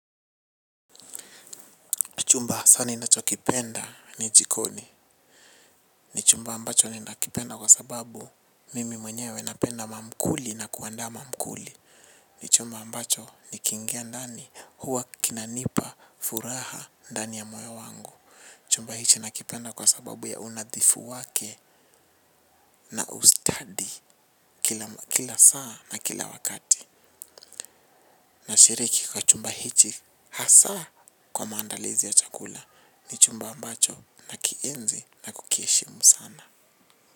Chumba hasa ninachokipenda ni jikoni. Ni chumba ambacho ninakipenda kwa sababu mimi mwenyewe napenda mamkuli na kuandaa mamkuli. Ni chumba ambacho nikiingia ndani huwa kinanipa furaha ndani ya moyo wangu. Chumba hichi nakipenda kwa sababu ya unadhifu wake na ustadi kila saa na kila wakati. Na shiriki kwa chumba hichi hasa kwa maandalizi ya chakula. Ni chumba ambacho nakienzi na kukiheshimu sana.